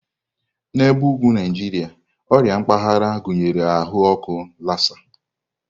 N'ebe ugwu Naijiria, ọrịa mpaghara gụnyere ahụ ọkụ Lassa.